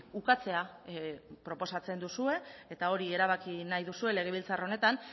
ukatzea proposatzen duzue eta hori erabaki nahi duzue legebiltzar honetan